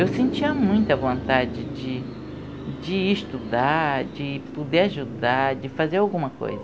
Eu sentia muita vontade de de ir estudar, de poder ajudar, de fazer alguma coisa.